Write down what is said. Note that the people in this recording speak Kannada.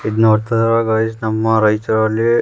ಇದು ನೋಡ್ತಾ ಇದೀರ ಗೈಸ್ ನಮ್ಮ ರೈಚೂರಲ್ಲಿ --